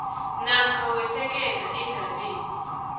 namkha wesekela eendabeni